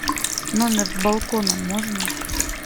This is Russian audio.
номер с балконом можно